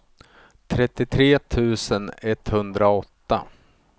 trettiotre tusen etthundraåtta